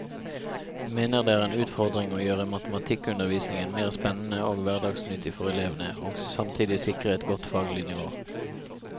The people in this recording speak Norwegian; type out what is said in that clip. Hun mener det er en utfordring å gjøre matematikkundervisningen mer spennende og hverdagsnyttig for elvene, og samtidig sikre et godt faglig nivå.